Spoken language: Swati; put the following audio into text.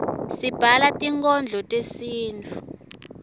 sibhala tinkhondlo tesintfu